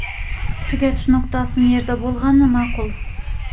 Tugatish nuqtasi qayerda bo‘lgani ma’qul?